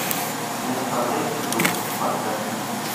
не оставляй следов поставь